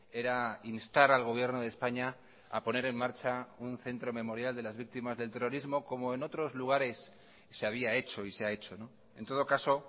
era instar al gobierno de españa a poner en marcha un centro memorial de las víctimas del terrorismo como en otros lugares se había hecho y se ha hecho en todo caso